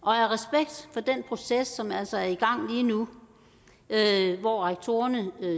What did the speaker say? af den proces som altså er i gang lige nu hvor rektorerne